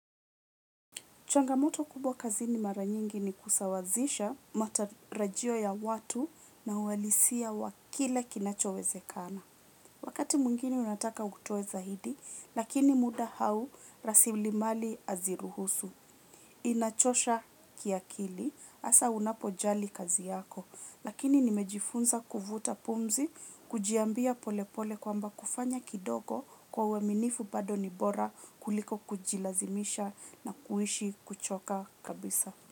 Changamoto kubwa kazi ni mara nyingi ni kusawazisha matarajio ya watu na uwalisia wakile kinachoweze kana. Wakati mungine unataka kutueza hidi, lakini muda hau rasilimali aziruhusu. Inachosha kiakili hasa unapojali kazi yako. Lakini nimejifunza kuvuta pumzi, kujiambia pole pole kwa mba kufanya kidogo kwa waminifu bado nibora kuliko kujilazimisha na kuishi kuchoka kabisa.